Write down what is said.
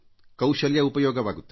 ಕೌಶಲ್ಯ ಉಪಯೋಗವಾಗುತ್ತದೆ